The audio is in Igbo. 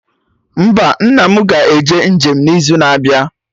Mba, nna mụ ga-eje njem n'izu na-abịa